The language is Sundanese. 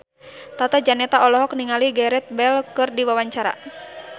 Tata Janeta olohok ningali Gareth Bale keur diwawancara